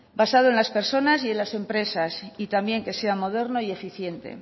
basado en las personas y en las empresas y también que sea moderno y eficiente